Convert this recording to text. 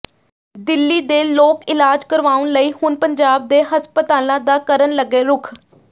ਦਿੱਲੀ ਦੇ ਲੋਕ ਇਲਾਜ ਕਰਵਾਉਣ ਲਈ ਹੁਣ ਪੰਜਾਬ ਦੇ ਹਸਪਤਾਲਾਂ ਦਾ ਕਰਨ ਲੱਗੇ ਰੁਖ